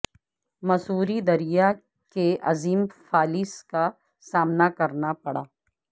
مسوری دریا کے عظیم فالس کا سامنا کرنا پڑا